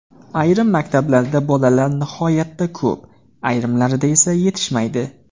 Ayrim maktablarda bolalar nihoyatda ko‘p, ayrimlarida esa yetishmaydi.